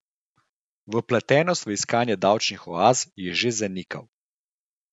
Vpletenost v iskanje davčnih oaz je že zanikal.